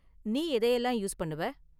நீ எதையெல்லாம் யூஸ் பண்ணுவ?